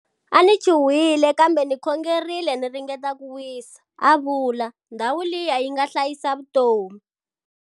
A ni chuwhile, kambe ni khongerile ni ringeta ku wisa, a vula. Ndhawu liya yi nga hlayisa vutomi!